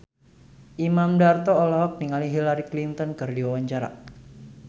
Imam Darto olohok ningali Hillary Clinton keur diwawancara